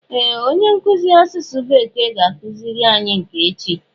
Ee! Onye nkụzi asụsụ bekee ga-akụziri anyi nke echi